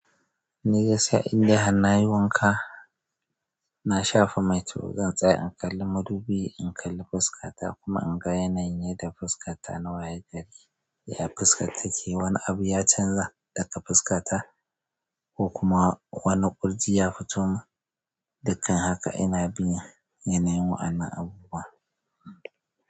Ni gaskiya in dai har nayi wanka, na shafa mai to zan tsaye in kalli madubi, in kalli fuskata kuma in ga yanayin da fuskata na waye gari. Ya fuskar ta ke? Wane abu ya canza ɗaka fuskata ko kuma wane ƙurji ya fito mun? Dukkan haka ina bin yanayin waannan abubuwa.